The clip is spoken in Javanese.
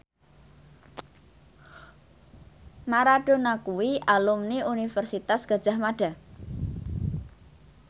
Maradona kuwi alumni Universitas Gadjah Mada